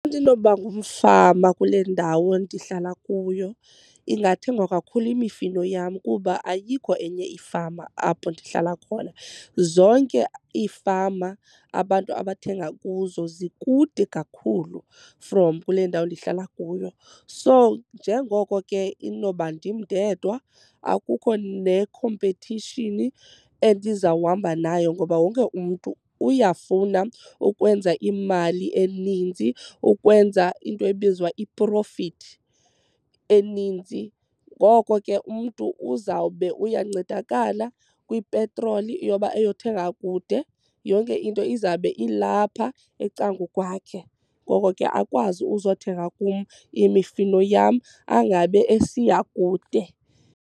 ndinoba ngumfama kule ndawo ndihlala kuyo ingathengwa kakhulu imifino yam kuba ayikho enye ifama apho ndihlala khona. Zonke iifama abantu abathenga kuzo zikude kakhulu from kule ndawo ndihlala kuyo. So njengoko ke inoba ndim ndedwa, akukho nekhompethishini endizawuhamba nayo ngoba wonke umntu uyafuna ukwenza imali eninzi ukwenza into ebizwa i-profit eninzi. Ngoko ke umntu uzawube uyancedakala kwipetroli yoba eyothenga kude. Yonke into izawube ilapha ecangukwakhe ngoko ke akwazi uzothenga kum imifino yam angabe esiya kude.